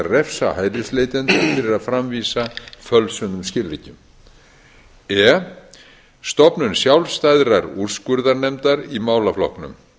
refsa hælisleitendum fyrir að framvísa fölsuðum skilríkjum e stofnun sjálfstæðrar úrskurðarnefndar í málaflokknum